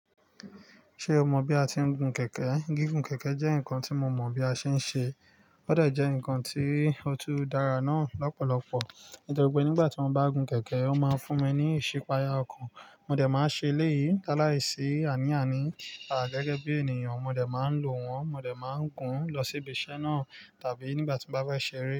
Ṣe o mọ bi a ti ń gun kẹ̀kẹ́? Gígùn kẹ̀kẹ́ jẹ́ nkan tí mo mọ bí a ṣe ń ṣe, ó de jẹ nkan ti ó tú dára náà lọ́pọ̀lọpọ̀. Nítorí pé nígbà tí mo bá gùn kẹ̀kẹ́, wọ́n máa ń fún ẹ ní ìsepaya ọkàn. Mo dẹ̀ máa ń ṣe eléyìí lálaisi àní àní. A gẹ́gẹ́ bí ènìyàn, mo dẹ̀ máa ń lo wọn, mo dẹ̀ máa ń gùn lọ sí ibi iṣẹ́ náà tàbí nígbà tí mo bá fẹ́ ṣeré.